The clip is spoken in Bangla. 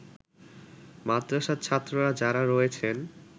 মাদ্রাসার ছাত্ররা যারা রয়েছেন